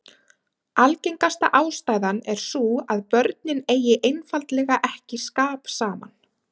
Algengasta ástæðan er sú að börnin eigi einfaldlega ekki skap saman.